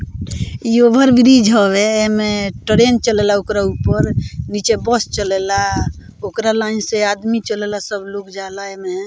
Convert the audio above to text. इ ओवरब्रिज हवे एमें ट्रैन चलेला ओकरा ऊपर नीचे बस चलेला ओकरा लाइन से आदमी चलेला सब लोग जाअला एमे।